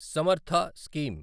Samarth scheme